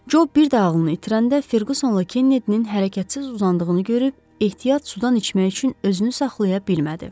Co bir də ağlını itirəndə Ferqusonla Kennedinin hərəkətsiz uzandığını görüb, ehtiyat sudan içmək üçün özünü saxlaya bilmədi.